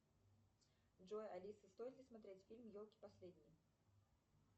джой алиса стоит ли смотреть фильм елки последние